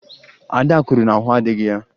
Ada kwuru na ahụ adịghị ya